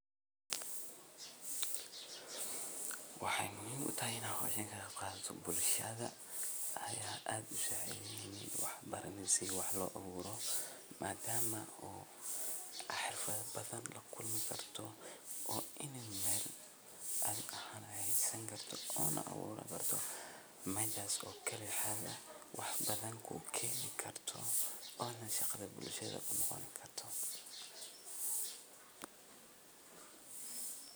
Waxey muhiim utahay in aah howshan kaqeyb qaato bulshada ayaa aad usacidheyne wax baraney si wax loo abuuro madama oo xirfadha badhan lakulmi karto oo ini Mel adhi ahaan hagaajisan karta Oona abuuran karto mejaas oo kalixaga wax badhan kukeeni karto Oona shaqadha bulshada kunoqoni karto.